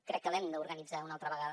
crec que l’hem d’organitzar una altra vegada